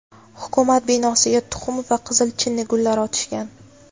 Hukumat binosiga tuxum va qizil chinnigullar otishgan.